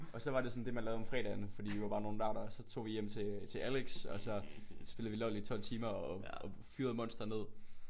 Og så var det sådan det man lavede om fredagen fordi vi var bare nogle nørder så tog vi hjem til til Alex og så spillede vi LOL i 12 timer og og fyrede monster ned